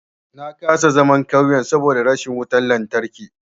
Na kasa zaman ƙauye saboda rashin wutan lantarki.